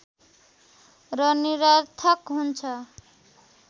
र निरर्थक हुन्छ